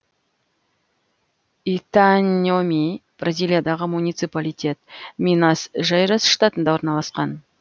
итаньоми бразилиядағы муниципалитет минас жейрас штатында орналасқан